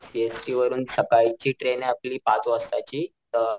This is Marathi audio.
सीएसटी वरून सकाळची ट्रेन आपली पाच वाजता ची अ,